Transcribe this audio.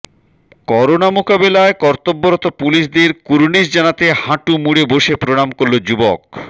corona মোকাবিলায় কর্তব্যরত পুলিশদের কুর্নিশ জানাতে হাঁটু মুড়ে বসে প্রনাম করল যুবক